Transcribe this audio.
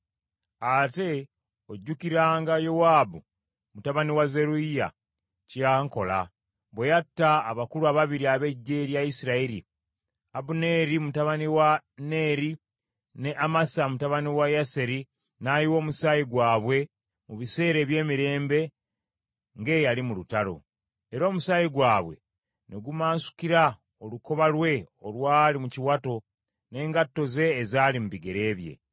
“Ate ojjukiranga Yowaabu mutabani wa Zeruyiya kye yankola, bwe yatta abakulu ababiri ab’eggye lya Isirayiri, Abuneeri mutabani wa Neeri ne Amasa mutabani wa Yeseri n’ayiwa omusaayi gwabwe mu biseera eby’emirembe ng’eyali mu lutalo, era omusaayi gwabwe ne gumansukira olukoba lwe olwali mu kiwato n’engatto ze ezaali mu bigere bye.